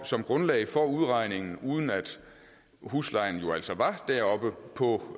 som grundlag for udregningen uden at huslejen jo altså var oppe på